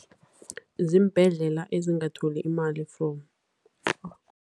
Ziimbhedlela ezingatholi imali from.